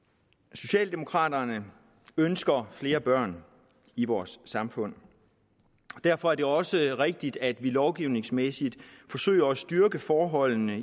socialdemokraterne ønsker flere børn i vores samfund derfor er det også rigtigt at vi lovgivningsmæssigt forsøger at styrke forholdene